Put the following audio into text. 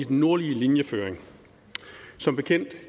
den nordlige linjeføring som bekendt